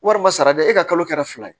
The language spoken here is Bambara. Walima sarada e ka kalo kɛra fila ye